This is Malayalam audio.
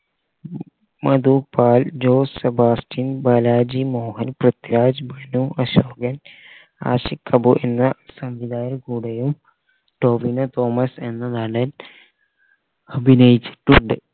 മധുബാൽ ജോസ് സെബാസ്റ്റിന് ബാലാജി മോഹൻ പൃഥ്വിരാജ് മനു അശോകൻ ആഷിഖ് അബു എന്ന സംവിധായാകരുടെ കൂടെയും ടോവിനോ തോമസ് എന്ന നടൻ അഭിനയിച്ചിട്ടുണ്ട്